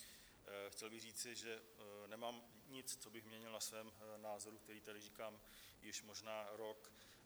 Chtěl bych říci, že nemám nic, co bych měnil na svém názoru, který tady říkám již možná rok.